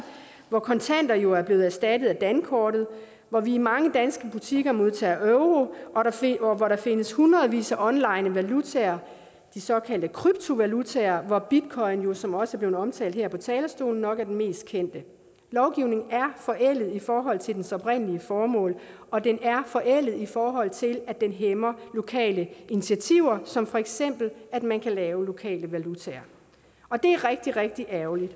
hvor kontanter jo er blevet erstattet af dankortet hvor vi i mange danske butikker modtager euro og hvor der findes hundredvis af online valutaer de såkaldte kryptovalutaer hvoraf bitcoins som også er blevet omtalt her på talerstolen nok er den mest kendte lovgivningen er forældet i forhold til dens oprindelige formål og den er forældet i forhold til at den hæmmer lokale initiativer som for eksempel at man kan lave lokale valutaer og det er rigtig rigtig ærgerligt